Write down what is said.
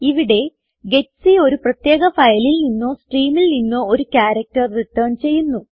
ഇവിടെ ജിഇടിസി ഒരു പ്രത്യേക ഫയലിൽ നിന്നോ സ്ട്രീമിൽ നിന്നോ ഒരു ക്യാരക്ടർ റിട്ടേൺ ചെയ്യുന്നു